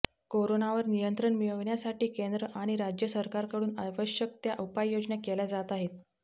कोरोनावर नियंत्रण मिळविण्यासाठी केंद्र आणि राज्य सरकारकडून आवश्यक त्या उपाययोजना केल्या जात आहेत